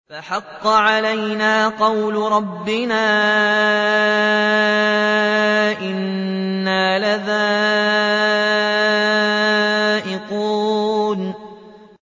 فَحَقَّ عَلَيْنَا قَوْلُ رَبِّنَا ۖ إِنَّا لَذَائِقُونَ